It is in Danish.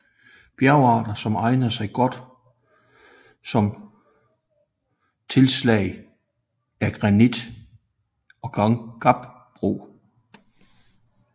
Bjergarter som egner sig godt som tilslag er granit og gabbro